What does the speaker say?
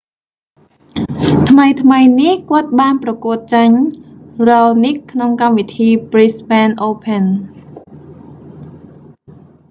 ថ្មីៗនេះ គាត់បានប្រកួតចាញ់ raonic ក្នុងកម្មវិធី brisbane open